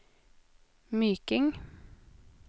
Myking